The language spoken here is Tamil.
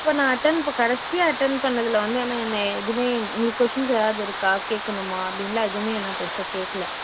இப்போ நான் attend ப கடைசியா attend பண்ணதுல வந்து ஆனா என்னைய எதுவுமே உங்களுக்கு questions எதாவது இருக்கா கேக்கணுமா அப்படின்னுலாம் எதுவுமே ஆன பெருசா கேக்கல